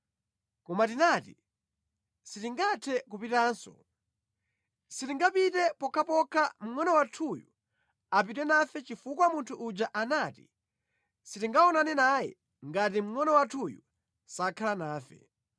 Koma tinati, ‘Sitingathe kupitanso. Sitingapite pokhapokha mngʼono wathuyu apite nafe chifukwa munthu uja anati sitingaonane naye ngati mngʼono wathuyu sakhala nafe.’